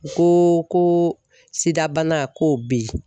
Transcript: U ko ko SIDA bana ko o bɛ ye.